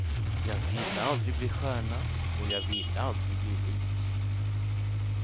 Jag ville aldrig bli stjärna och jag ville aldrig bli rik.